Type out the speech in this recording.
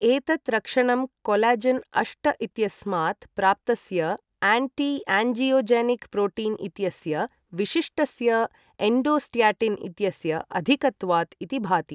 एतत् रक्षणं कॊलजेन् अष्ट इत्यस्मात् प्राप्तस्ययाण्टी यान्जियोजेनिक् प्रोटीन् इत्यस्य विशिष्टस्य एण्डोस्ट्याटिन् इत्यस्य अधिकत्वात् इति भाति।